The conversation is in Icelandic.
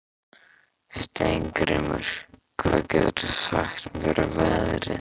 Steingrímur, hvað geturðu sagt mér um veðrið?